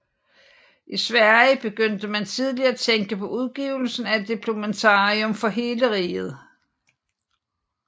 I Sverige begyndte man tidlig at tænke på udgivelsen af et diplomatarium for hele riget